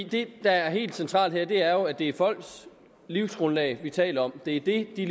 det der er helt centralt her er jo at det er folks livsgrundlag vi taler om det er det de